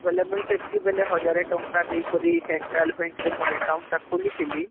ବୋଇଲେ ମୁଇଁ ସେତି କି ବେଳେ ୧୦୦୦ ଟଙ୍କା ଦେଇ କରି Central bank ମୋର account ଟା ଖୁଲିଥିଲି ରେ